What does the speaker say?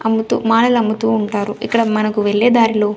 అమ్ముతూ మానెలమ్ముతూ ఉంటారు ఇక్కడ మనకు వెళ్లేదారిలో.